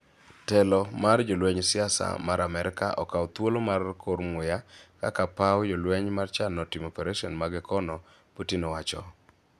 " Telo mar jolweny siasa mar Amerka okawo thuolo mar kor muya kaka paw jolweny chano timo paresen mage kono", Putin owacho.